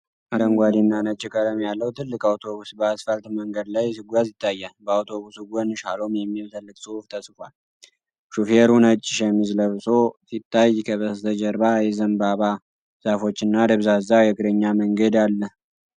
አረንጓዴና ነጭ ቀለም ያለው ትልቅ አውቶብስ በአስፋልት መንገድ ላይ ሲጓዝ ይታያል። በአውቶብሱ ጎን "SHALOM" የሚል ትልቅ ጽሑፍ ተጽፏል። ሹፌሩ ነጭ ሸሚዝ ለብሶ ሲታይ፣ ከበስተጀርባ የዘንባባ ዛፎችና ደብዛዛ የእግረኛ መንገድ አለ።